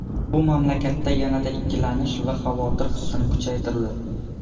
Bu mamlakatda yanada ikkilanish va xavotir hissini kuchaytirdi.